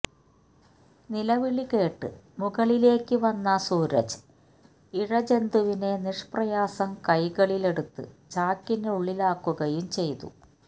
നിലവിളി കേട്ട് മുകളിലേക്ക് വന്ന സൂരജ് ഇഴ ജന്തുവിനെ നിഷ്പ്രയാസം കൈകളിലെടുത്ത് ചാക്കിനുള്ളിലാക്കുകയും ചെയ്തു